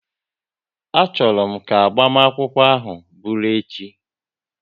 A chọrọ m ka agbamakwụkwọ ahụ bụru echi!